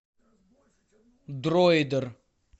дроидер